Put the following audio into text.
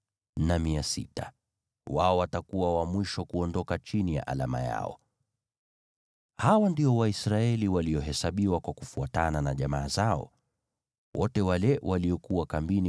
Hawa ndio Waisraeli, wakiwa wamehesabiwa kufuatana na jamaa zao. Wote walio kambini kwa makundi yao ni watu 603,550.